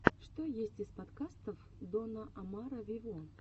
что есть из подкастов дона омара вево